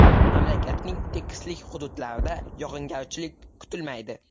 Mamlakatning tekislik hududlarda yog‘ingarchilik kutilmaydi.